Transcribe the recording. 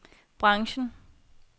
branchen